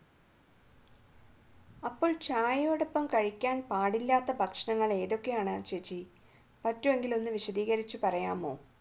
അപ്പോൾ ചായയോടൊപ്പം കഴിക്കാൻ പാടില്ലാത്ത ഭക്ഷണങ്ങൾ ഏതൊക്കെയാണ് ചേച്ചി പറ്റുകയാണെങ്കിൽ വിശദീകരിച്ച് പറയാമോ